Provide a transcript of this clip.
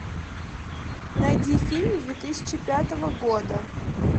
найди фильм две тысячи пятого года